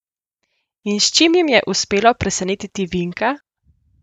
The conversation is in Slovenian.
In s čim jim je uspelo presenetiti Vinka?